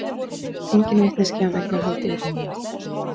Engin vitneskja um eignarhald í útlöndum